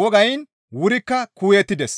wogayn wurikka kuuyettides.